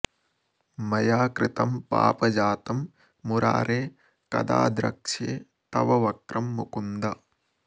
मया कृतं पापजातं मुरारे कदा द्रक्ष्ये तव वक्रं मुकुन्द